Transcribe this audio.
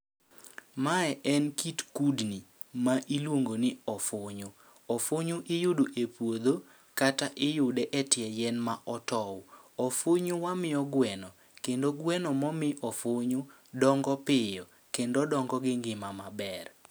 Mae en kit kudni ma iluongo ni ofunyu, ofunyu iyudo e puodho kata iyude e ie yien ma otow. Ofunyu wamiyo gweno, kendo gweno ma omi ofunyu dongo piyo kendo dongo gi ngima maber.